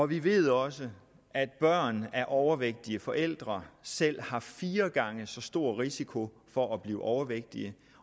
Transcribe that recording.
vi ved også at børn af overvægtige forældre selv har fire gange så stor risiko for at blive overvægtige